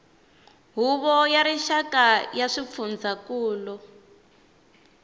huvo ya rixaka ya swifundzankulu